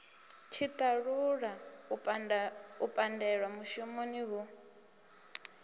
tshiṱalula u pandelwa mushumoni hu